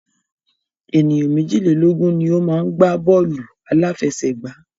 Ènìyàn méjìlélógun ni o má ń gbá bọ́ọ̀lù àláfẹsẹ̀gbá.